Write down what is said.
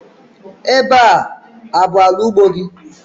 Ebe a abụ ala ugbo gị?